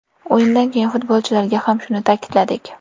O‘yindan keyin futbolchilarga ham shuni ta’kidladik.